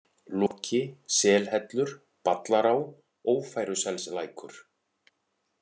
Loki, Selhellur, Ballará, Ófæruselslækur